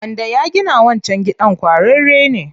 Wanda ya gina wancan gidan ƙwararre ne.